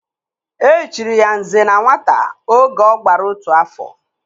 E chiri ya "Nze na Nwata" oge ọ gbara otu afọ